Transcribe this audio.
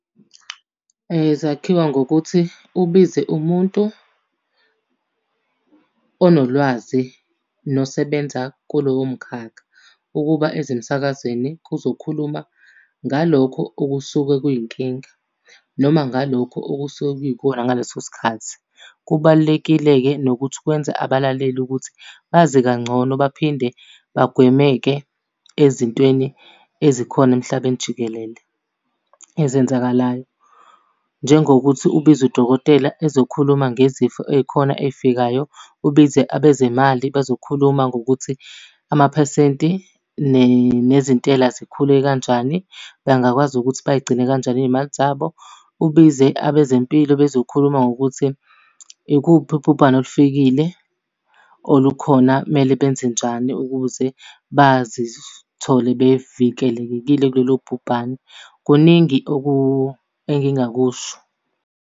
Zakhiwa ngokuthi ubize umuntu onolwazi nosebenza kulowo mkhakha. Ukuba eze emsakazweni kuzokhuluma ngalokho okusuke kuyinkinga, noma ngalokho okusuke kuyikona ngaleso sikhathi. Kubalulekile-ke nokuthi kwenze abalaleli ukuthi bazi kangcono baphinde bagweme-ke ezintweni ezikhona emhlabeni jikelele ezenzakalayo. Njengokuthi ubize udokotela ezokhuluma ngezifo ey'khona ezifikayo. Ubize abezimali bezokhuluma ngokuthi amaphesenti nezintela zikhule kanjani, bengakwazi ukuthi bay'gcine kanjani iy'mali zabo. Ubize abezempilo bezokhuluma ngokuthi, ikuphi ubhubhane olufikile, olukhona, kumele benze njani ukuze bazithole bevikelekekile kulolu bhubhane. Kuningi engingakusho.